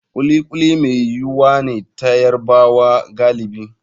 Kuli kuli mai yuwuwa ne ta Yarubawa galibi.